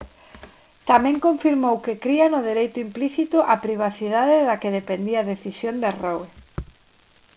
tamén confirmou que cría no dereito implícito á privacidade da que dependía a decisión de roe